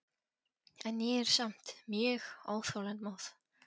En ég er samt mjög óþolinmóð.